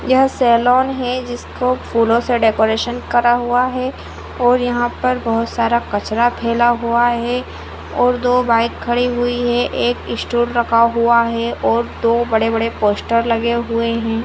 यह सेलोन है जिसको फूलो से डेकोरेशन करा हुआ है और यहाँ पर बहुत सारा कचरा फैला हुआ है और दो बाइक खड़ी हुई है एक इस्टूल रखा हुआ है और दो बड़े बड़े पोस्टर लगे हुए है।